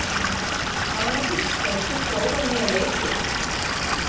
Mánadís, hefur þú prófað nýja leikinn?